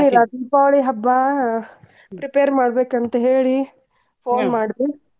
ಎನಿಲ್ಲಾ ದೀಪಾವಳಿ ಹಬ್ಬಾ prepare ಮಾಡ್ಬೇಕ ಅಂತ್ ಹೇಳಿ phone ಮಾಡ್ದೆ.